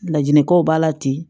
Laɲinikaw b'a la ten